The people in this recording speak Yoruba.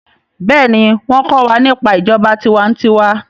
béèni wón ko wà nípa ìjọba tiwa-n-tiwa.